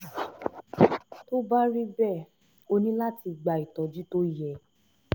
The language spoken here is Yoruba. tó bá rí bẹ́ẹ̀ o ní láti gba ìtọ́jú tó yẹ